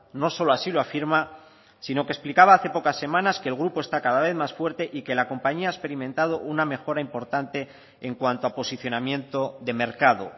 no solo así lo afirma sino que explicaba hace pocas semanas que el grupo está cada vez más fuerte y que la compañía ha experimentado una mejora importante en cuanto a posicionamiento de mercado